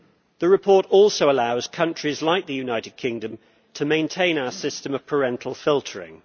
The report also allows countries like the United Kingdom to maintain our system of parental filtering.